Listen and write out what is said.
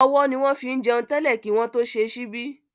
Ọwọ́ ni wọ́n fín jẹun tẹ́lẹ̀ kí wọ́n tó ṣe ṣíbí